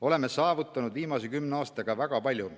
Oleme saavutanud viimase kümne aastaga väga palju.